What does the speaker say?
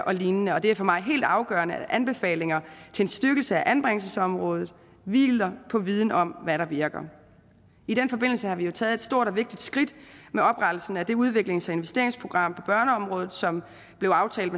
og lignende og det er for mig helt afgørende at anbefalinger til en styrkelse af anbringelsesområdet hviler på viden om hvad der virker i den forbindelse har vi jo taget et stort og vigtigt skridt med oprettelsen af det udviklings og investeringsprogram på børneområdet som blev aftalt